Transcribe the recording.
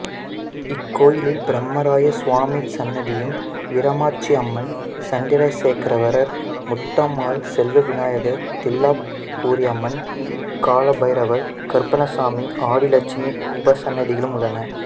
இக்கோயிலில் பிரம்மராய சுவாமி சன்னதியும் வீரமாச்சியம்மன் சந்திரசேகராஸ்வரர் முத்தம்மாள் செல்வவிநாயகர் தில்லாபுரியம்மன் காளபைரவர் கருப்பண்ணசாமி ஆதிலட்சுமி உபசன்னதிகளும் உள்ளன